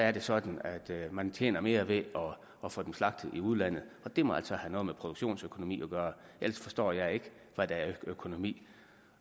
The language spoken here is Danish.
er sådan at man tjener mere ved at få dem slagtet i udlandet og det må altså have noget med produktionsøkonomi at gøre ellers forstår jeg ikke hvad der er økonomi